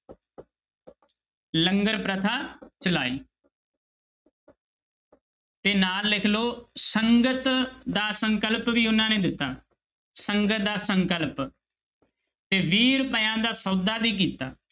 ਲੰਗਰ ਪ੍ਰਥਾ ਚਲਾਈ ਤੇ ਨਾਲ ਲਿਖ ਲਓ ਸੰਗਤ ਦਾ ਸੰਕਲਪ ਵੀ ਉਹਨਾਂ ਨੇ ਦਿੱਤਾ, ਸੰਗਤ ਦਾ ਸੰਕਲਪ, ਤੇ ਵੀਹ ਰੁਪਇਆਂ ਦਾ ਸੌਦਾ ਵੀ ਕੀਤਾ।